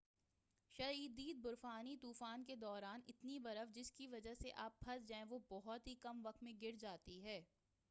شدید برفانی طوفان کے دوران اتنی برف جس کی وجہ سے آپ پھنس جائیں وہ بہت ہی کم وقت میں گر جاتی ہے